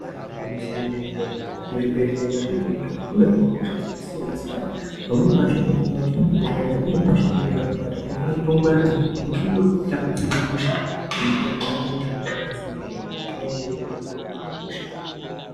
Igwinyiso remenemene muzvibhehleya mwatirikuenda umu munohinwe hosha dzakasiyanasiyana pamweni pacho unotoonana kuti ukaenda une hosha inonga yakakubata inofanira kunge kutongwarira ngekuti unokone kutotapurirwe hosha ngeamweni anhu ukasangwarira.